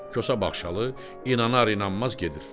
Kosa Baxşalı inana-inanmaz gedir.